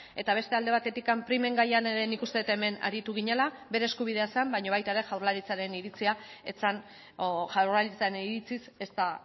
eta beste alde batetik primen gaian ere nik uste dut hemen aritu ginela bere eskubidea zen baina baita ere jaurlaritzaren iritziz ez da